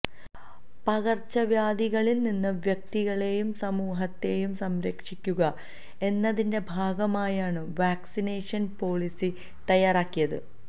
പകര്ച്ച വ്യാധികളില് നിന്ന് വ്യക്തികളെയും സമൂഹത്തെയും സംരക്ഷിക്കുക എന്നതിന്റെ ഭാഗമായാണ് വാക്സിനേഷന് പോളിസി തയ്യാറാക്കിയത്